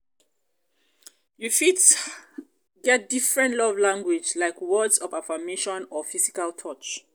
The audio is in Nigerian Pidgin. you fit get different love language like words of affirmation or physical touch.